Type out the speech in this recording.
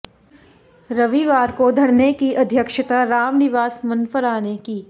रविवार को धरने की अध्यक्षता रामनिवास मनफरा ने की